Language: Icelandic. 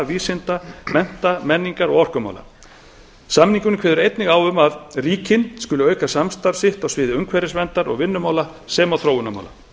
vísinda mennta menningar og orkumála samningurinn kveður einnig á um að ríkin skuli auka samstarf sitt á sviði umhverfisverndar og vinnumála sem og þróunarmála